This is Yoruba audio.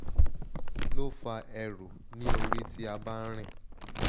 kí ló fa eru ni ori ti a bá n rìn?